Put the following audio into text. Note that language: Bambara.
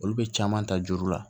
Olu bɛ caman ta juru la